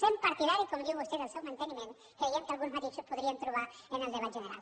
sent partidaris com diu vostè del seu manteniment creiem que alguns matisos podríem trobar en el debat general